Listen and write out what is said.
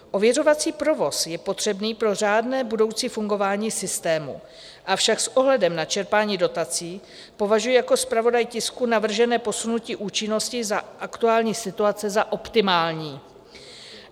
Ověřovací provoz je potřebný pro řádné budoucí fungování systému, avšak s ohledem na čerpání dotací považuji jako zpravodaj tisku navržené posunutí účinnosti za aktuální situace za optimální.